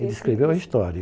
Ele escreveu a história.